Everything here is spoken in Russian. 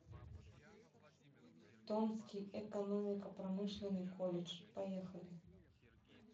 томский экономико промышленный колледж поехали